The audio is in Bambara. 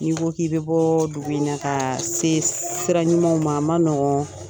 N'i ko k'i bɛ bɔ dugu in na ka se sira ɲumanw ma , a ma nɔgɔ